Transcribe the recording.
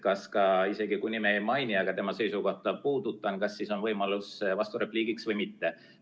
Kas ka isegi siis, kui ma tema nime ei maini, aga tema seisukohta puudutan, on võimalus vasturepliigiks või mitte?